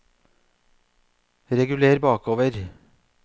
reguler bakover